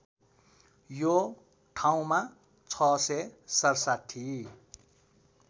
यो ठाउँमा ६६७